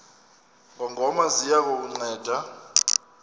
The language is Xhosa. ngongoma ziya kukunceda